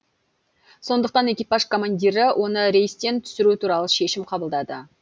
сондықтан экипаж командирі оны рейстен түсіру туралы шешім қабылдады